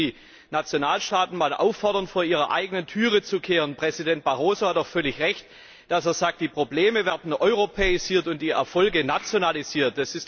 Da müssten Sie die Nationalstaaten einmal auffordern, vor ihrer eigenen Tür zu kehren. Präsident Barroso hat doch völlig Recht, wenn er sagt, die Probleme werden europäisiert und die Erfolge nationalisiert!